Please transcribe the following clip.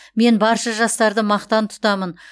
мен барша жастарды мақтан тұтамын